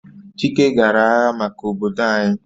Chike gara agha maka obodo anyi